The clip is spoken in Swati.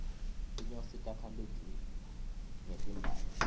tinyosi takha luju ngetimbali